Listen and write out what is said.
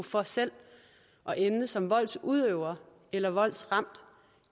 for selv at ende som voldsudøver eller voldsramt